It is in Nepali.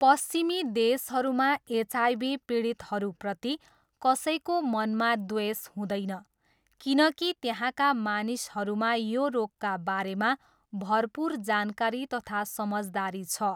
पश्चिमी देशहरूमा एचआइभी पीडितहरूप्रति कसैको मनमा द्वेष हुँदैन किनकि त्यहाँका मानिसहरूमा यो रोगका बारेमा भरपुर जानकारी तथा समझदारी छ।